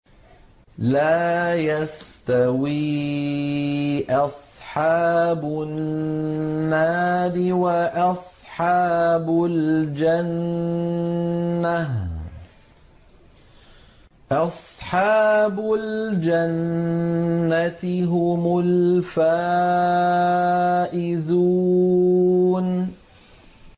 لَا يَسْتَوِي أَصْحَابُ النَّارِ وَأَصْحَابُ الْجَنَّةِ ۚ أَصْحَابُ الْجَنَّةِ هُمُ الْفَائِزُونَ